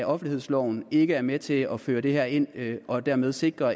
offentlighedsloven ikke er med til at føre det her ind og dermed sikre